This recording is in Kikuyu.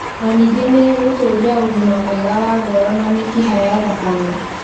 Na ningĩ nĩ ĩgũtũũria ũgima mwega wa ngoro na mĩkiha ya thakame.